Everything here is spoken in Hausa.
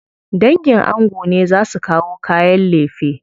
Dangin ango ne za su kawo kayan lefe.